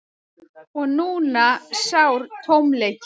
Og núna sár tómleikinn.